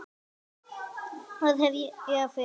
Hvað hef ég að fela?